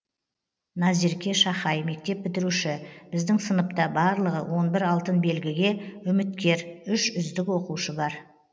назерке шахай мектеп бітіруші біздің сыныпта барлығы он бір алтын белгіге үміткер үш үздік оқушы бар